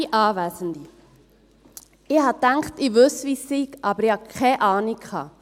«Ich dachte, ich wisse, wie es sei, aber ich hatte keine Ahnung.